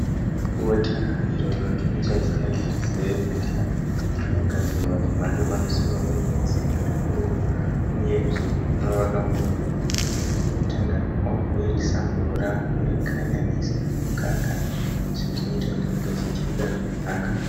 Bota iro rinotumidzwa zita rekuti cerevita. Rinogadzirwa zvemhando yepamusoro, rinozipa zvikuru uye rinovaka miviri. Unotanga wabhoirisa mvura worikanyanisa nemukaka izvo zvinoita kuti ringe richidyika zvakanaka.